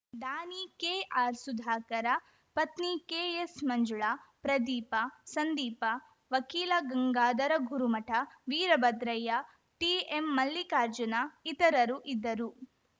ದಾನಿ ಕೆಆರ್‌ ಸುಧಾಕರ ಪತ್ನಿ ಕೆಎಸ್‌ ಮಂಜುಳಾ ಪ್ರದೀಪ ಸಂದೀಪ ವಕೀಲ ಗಂಗಾಧರ ಗುರುಮಠ ವೀರಭದ್ರಯ್ಯ ಟಿಎಂ ಮಲ್ಲಿಕಾರ್ಜುನ ಇತರರು ಇದ್ದರು